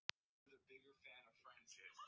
En eru hinir nokkru betur settir?